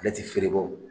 Ale ti feere bɔ